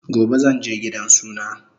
Gobe zanje gidan suna